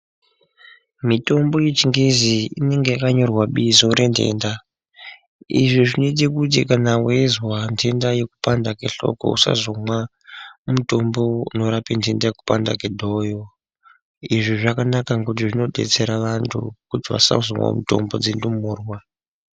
Mitombo yechingezi inenge yakanyorwa bizo rentenda. Izvi zvinoite kuti kana weizwa ntenda yekupanda kwehloko usazomwa mutombo unorapa kupanda kwedhoyo. Izvi zvakanak ngekuti zvinodetsera antu kuti vasazomwa mitombo dzendumurwa.